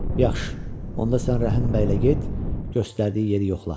Yaxşı, onda sən Rəhim bəylə get, göstərdiyi yeri yoxla.